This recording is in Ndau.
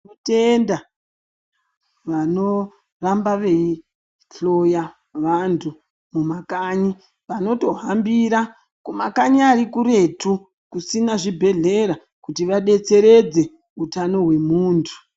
Tinotenda vanoramba veihloy vantu mumakanyi vanotohambira kumakanyi arikuretu kusina chibhedhlera kuti vabetseredze utano hwemuntu .